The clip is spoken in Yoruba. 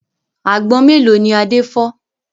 Àgbọn mélòó ni Adé fọ́?